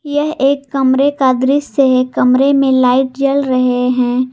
यह एक कमरे का दृश्य है कमरे में लाइट जल रहे हैं।